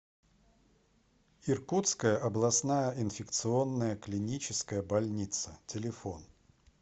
иркутская областная инфекционная клиническая больница телефон